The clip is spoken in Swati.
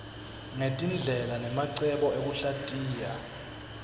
ngetindlela nemacebo ekuhlatiya